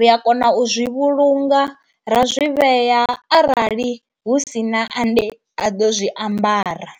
ri a kona u zwi vhulunga ra zwi vhea arali hu si na ane a ḓo zwi ambara.